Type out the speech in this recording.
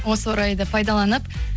осы орайды пайдаланып